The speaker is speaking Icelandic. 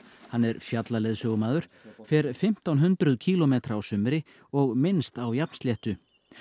hann er fjallaleiðsögumaður fer fimmtán hundruð kílómetra á sumri og minnst á jafnsléttu